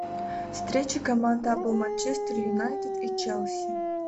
встреча команд апл манчестер юнайтед и челси